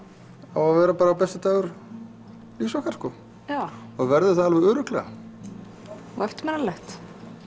á að vera besti dagur lífs okkar og verður það alveg örugglega og eftirminnilegt